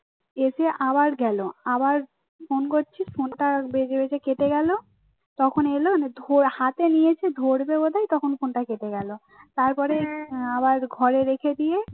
এসে আবার গেল আবার ফোন করছি ফোনটা বেজে বেজে কেটে গেল তখন এলো হাতে নিয়েছি ধরবে বলে তখন ফোনটা কেটে গেল তারপরে আবার ঘরে রেখে দিয়ে